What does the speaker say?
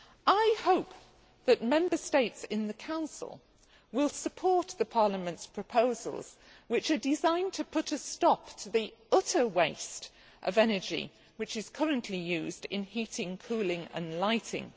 I hope that Member States in the Council will support the Parliament's proposals, which are designed to put a stop to the utter waste of energy which is currently used in heating, cooling and lighting.